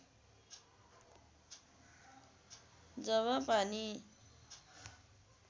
जब पानी